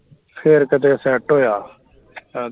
ਫਿਰ ਕਦੇ set ਹੋਇਆ